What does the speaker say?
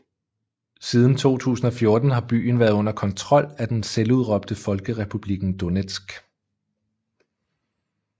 Siden 2014 har byen været under kontrol af den selvudråbte Folkerepublikken Donetsk